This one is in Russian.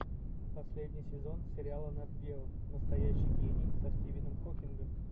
последний сезон сериала нат гео настоящий гений со стивеном хокингом